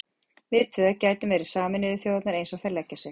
Við tvö gætum verið Sameinuðu þjóðirnar eins og þær leggja sig.